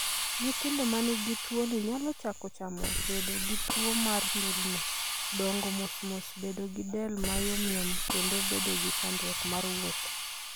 Nyithindo ma nigi tuwoni nyalo chako chamo, bedo gi tuwo mar ndulme, dongo mos mos, bedo gi del ma yomyom, kendo bedo gi chandruok mar wuotho.